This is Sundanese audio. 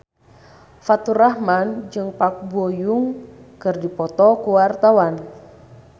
Faturrahman jeung Park Bo Yung keur dipoto ku wartawan